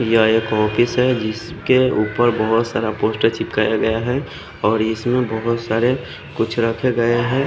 यहाँ एक ऑफिस है जिसके उपर बोहोत सारा पोस्टर चिपकाया गया है और इसमें बोहोत सारे कुछ रखे गये है।